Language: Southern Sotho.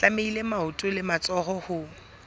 tlamehile maoto le matsoho ho